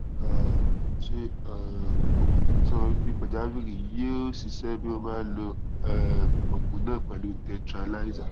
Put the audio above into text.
um ṣé um oògùn ìfètòsọmọbíbí pàjáwìrì yóò ṣiṣẹ bí wọn bá lo um oògùn náà pẹlú tetralysal